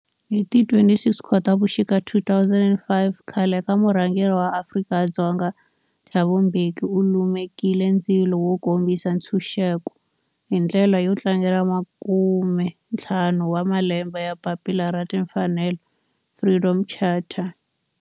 Hi ti 26 Khotavuxika 2005 khale ka murhangeri wa Afrika-Dzonga Thabo Mbeki u lumekile ndzilo wo kombisa ntshuxeko, hi ndlela yo tlangela makume-ntlhanu wa malembe ya papila ra timfanelo, Freedom Charter.